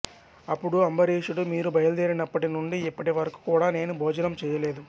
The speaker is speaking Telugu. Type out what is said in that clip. అపుడు అంబరీషుడు మీరు బయలుదేరినప్పటి నుండి ఇప్పటి వరకు కూడా నేను భోజనం చేయలేదు